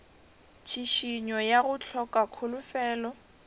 tšhišinyo ya go hloka kholofelo